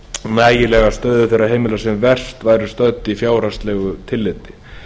nægilega að stöðu þeirra heimila sem verst væru stödd í fjárhagslegu tilliti